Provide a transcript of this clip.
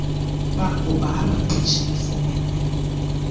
bakuba abaqeshi befumene